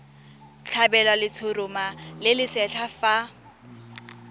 tlhabelwa letshoroma le lesetlha fa